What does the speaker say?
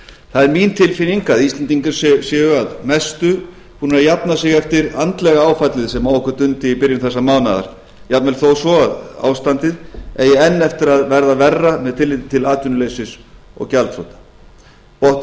það er mín tilfinning að íslendingar séu að mestu búnir að jafna sig eftir andlega áfallið sem á okkur dundi í byrjun þessa mánaðar jafnvel þó svo að ástandið eigi enn eftir að verða verra með tilliti til atvinnuleysis og gjaldþrota botninum